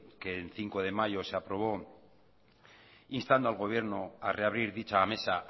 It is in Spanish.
que el cinco de mayo se aprobó instando al gobierno a reabrir dicha mesa